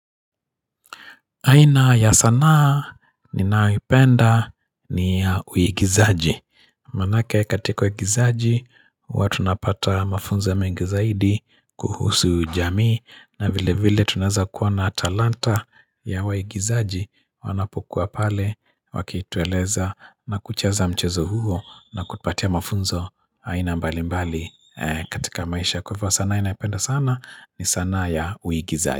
Aina ya sanaa ninayoipenda ni ya uigizaji. Manake katika uigizaji huwa tunapata mafunzo ya mengi zaidi kuhusu jamii na vile vile tunaeza kuwa na talanta ya waigizaji wanapokuwa pale wakitueleza na kucheza mchezo huo na kutupatia mafunzo aina mbali mbali katika maisha. Kwa hivo sanaa inaipenda sana ni sanaa ya uigizaji.